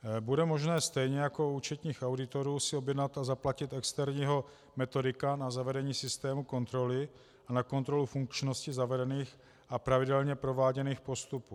Bude možné stejně jako u účetních auditorů si objednat a zaplatit externího metodika na zavedení systému kontroly a na kontrolu funkčnosti zavedených a pravidelně prováděných postupů.